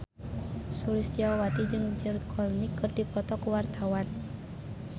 Sulistyowati jeung George Clooney keur dipoto ku wartawan